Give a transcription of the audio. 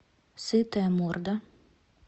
сытая морда